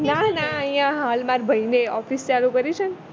નાના અહીંયા હાલ મારા ભૈએ office ચાલુ કરી છે ને